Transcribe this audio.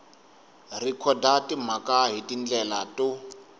rhekhoda timhaka hi tindlela to